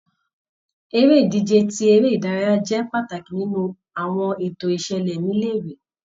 Eré -ìdíje tí eré ìdárayá jẹ́ pàtàkì nínú àwọn ètò ìṣẹ̀lẹ̀ ni ilé-ìwé.